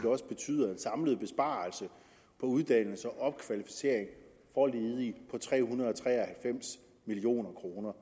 også betyder en samlet besparelse på uddannelse og opkvalificering for ledige på tre hundrede og tre og halvfems million kroner